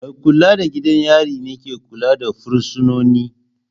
Mai kula da gidan yari ne ke kula da fursunoni.